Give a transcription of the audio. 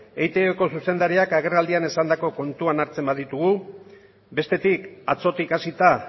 eitbko zuzendariak agerraldian esandako kontuan hartzen baditugu bestetik atzotik hasita